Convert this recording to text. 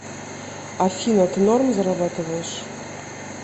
афина ты норм зарабатываешь